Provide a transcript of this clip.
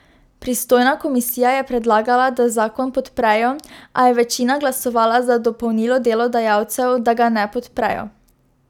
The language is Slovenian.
Pristojna komisija je predlagala, da zakon podprejo, a je večina glasovala za dopolnilo delodajalcev, da ga ne podprejo.